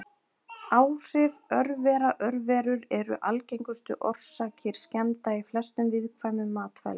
Áhrif örvera Örverur eru algengustu orsakir skemmda í flestum viðkvæmum matvælum.